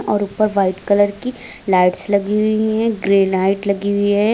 और ऊपर white colour की लाइट्स लगी हुई हैं ग्रे लाइट लगी हुई हैं।